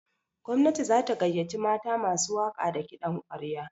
Gwamnati za ta gayyaci mata masu waƙa da kiɗan ƙwarya.